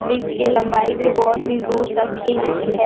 Bridge की लंबाई भी बहुत ही दूर तक की है।